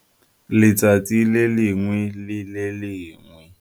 letsatsi le lengwe le le lengwe.